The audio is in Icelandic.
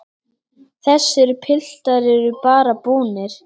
Þessir piltar eru bara búnir.